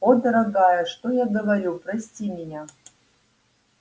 о дорогая что я говорю прости меня